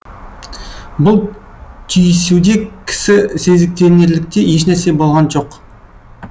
бұл түйісуде кісі сезіктенерліктей ешнәрсе болған жоқ